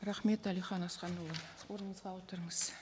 рахмет әлихан асханұлы орныңызға отырыңыз